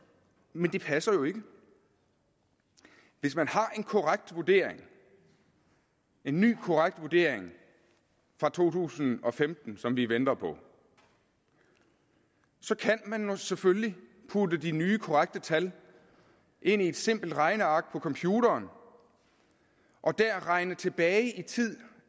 men det passer jo ikke hvis man har en korrekt vurdering en ny korrekt vurdering fra to tusind og femten som vi venter på så kan man selvfølgelig putte de nye korrekte tal ind i et simpelt regneark på en computer og regne tilbage i tid